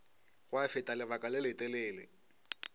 gwa feta lebaka le letelele